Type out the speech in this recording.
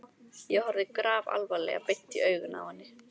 Ég horfði grafalvarleg beint í augun á henni.